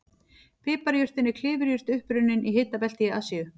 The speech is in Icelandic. Piparjurtin er klifurjurt upprunnin í hitabelti Asíu.